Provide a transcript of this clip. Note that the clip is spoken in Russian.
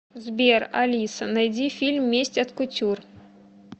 сбер алиса найди фильм месть от кутюр